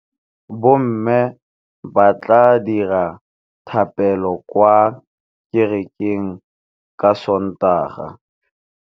Bommê ba tla dira dithapêlô kwa kerekeng ka Sontaga.